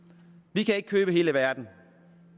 vi kan ikke købe hele verden